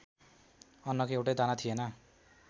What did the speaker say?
अन्नको एउटै दाना थिएन।